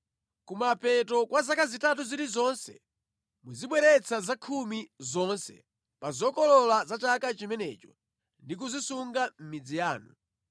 Kumapeto kwa zaka zitatu zilizonse muzibweretsa zakhumi zonse pa zokolola za chaka chimenecho ndi kuzisunga mʼmidzi yanu,